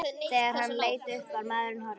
Þegar hann leit upp var maðurinn horfinn.